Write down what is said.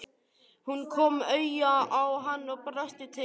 Hún kom auga á hann og brosti til hans.